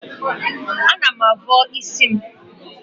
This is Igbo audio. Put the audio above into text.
Ana m avọ isi m.